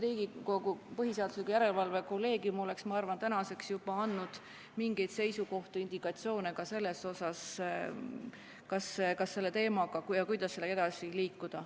Riigikohtu põhiseaduslikkuse järelevalve kolleegium oleks, ma arvan, tänaseks juba andnud mingeid seisukohti ja indikatsioone selle kohta, kas ja kuidas selle teemaga edasi liikuda.